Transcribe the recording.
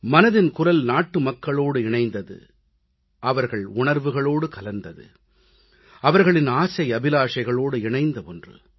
மனதின் குரல் நாட்டுமக்களோடு இணைந்தது அவர்கள் உணர்வுகளோடு கலந்தது அவர்களின் ஆசை அபிலாஷைகளோடு இணைந்த ஒன்று